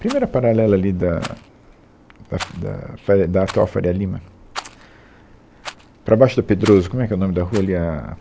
Primeira paralela ali da, da Fa, da Faria, da atual Faria Lima, tsc, para baixo da Pedroso, como é que é o nome da rua ali? É a